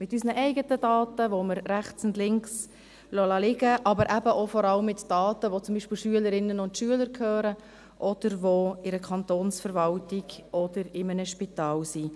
Mit unseren eigenen Daten, die wir rechts und links liegen lassen, aber eben auch vor allem mit Daten, die zum Beispiel Schülerinnen und Schülern gehören oder die in der Kantonsverwaltung oder in einem Spital sind.